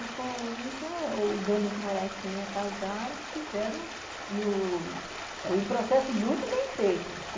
E com isso ah os dando os morais que me acusaram, fizeram no...um processo muito bem feito.